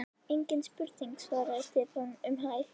Engin spurning svaraði Stefán um hæl.